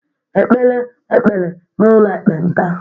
e kpere ekpere n’ụlọ ekpenta